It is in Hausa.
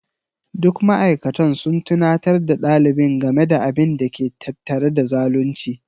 Duk ma'aikatan sun tunatar da ɗalibin game da abin da ke tattare da zalunci.